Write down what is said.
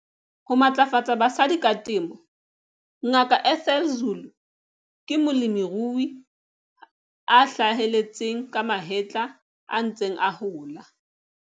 Ho matlafatsa basadi ka temo. Ngaka Ethel Zulu ke molemirui a hlaheletseng ka mahetla a ntseng a hola.